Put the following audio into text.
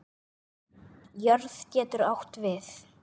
Jörð getur átt við